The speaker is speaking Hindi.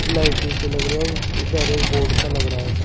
लाइट सी लग रही है बाहर एक बोर्ड सा लग रहा है।